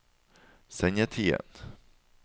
sendetiden